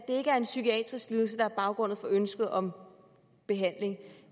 ikke er en psykiatrisk lidelse der er baggrunden for ønsket om behandling